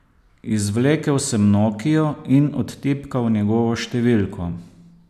Izvlekel sem nokio in odtipkal njegovo številko.